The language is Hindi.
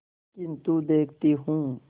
किन्तु देखती हूँ